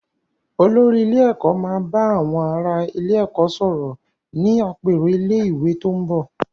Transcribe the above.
Olórí ilé ẹ̀kọ́ máa ba àwọn ará ilé-ẹ̀kọ́ sọ̀rọ̀ ní àpérò ilé-ìwé tó ń bò.